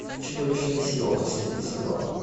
чудовищная сила последний сезон